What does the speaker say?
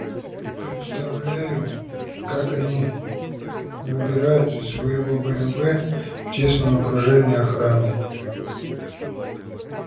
представляю как они выбираются из своего бмв в тесном окружении охраны